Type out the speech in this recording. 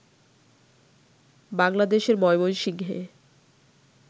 বাংলাদেশের ময়মনসিংহে